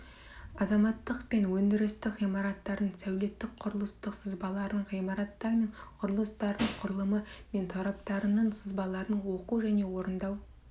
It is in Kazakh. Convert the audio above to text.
азаматтық пен өндірістік ғимараттардың сәулеттік құрылыстық сызбаларын ғимараттар мен құрылыстардың құрылымы мен тораптарының сызбаларын оқу және орындау